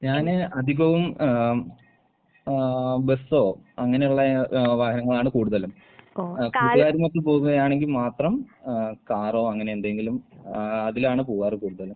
ഞാന് അധികവും എഹ് ഏഹ് ബസ്സോ അങ്ങനെയൊള്ള ഏഹ് വാഹനങ്ങളാണ് കൂടുതലും. എഹ് കൂട്ടുകാരൊപ്പം പോവുമ്പഴാണെങ്കിൽ മാത്രം ഏഹ് കാറോ അങ്ങനെ എന്തെങ്കിലും ഏഹ് അതിലാണ് പോവാറ് കൂടുതലും.